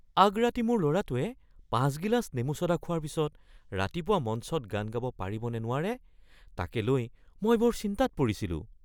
আগৰাতি মোৰ ল’ৰাটোৱে ৫ গিলাচ নেমু ছ’ডা খোৱাৰ পিছত ৰাতিপুৱা মঞ্চত গান গাব পাৰিব নে নোৱাৰে তাকে লৈ মই বৰ চিন্তাত পৰিছিলোঁ।